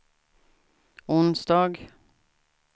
onsdag